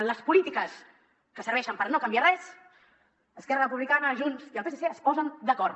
en les polítiques que serveixen per no canviar res esquerra republicana junts i el psc es posen d’acord